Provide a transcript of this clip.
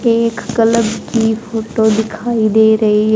एक क्लब की फोटो दिखाई दे रही है।